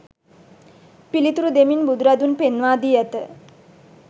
පිළිතුරු දෙමින් බුදුරදුන් පෙන්වා දී ඇත.